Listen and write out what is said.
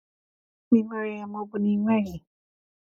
Ma ị nwere ya ma ọ bụ na ị nweghị.